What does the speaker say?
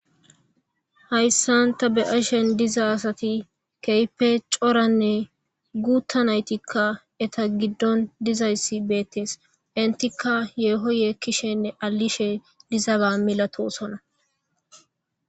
hayssanta be7ashen diza asati keype coranne guuttanaytikka eta giddon dizayssi beettees intikka yeehoye kishenne alishe dizaba milatosona